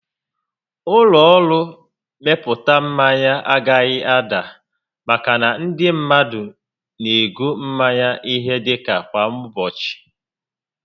Ụlọ ọrụ mmepụta mmanya agaghị ada maka na ndị mmadụ n'ego mmanya ihe dịka kwa ụbọchị